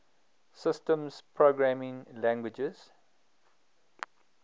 systems programming languages